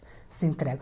Se entregam.